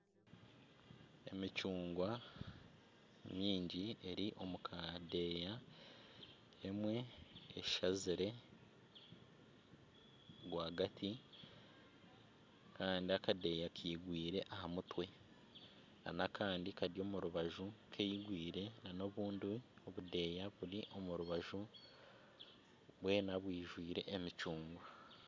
Emicungwa mingi eri omu kadeeya emwe eshazire rwagati kandi akadeeya kigwire aha mutwe na n'akandi kari omu rubaju kigwire na n'obundi budeeya buri omu rubaju bwoona bwijwire emicungwa.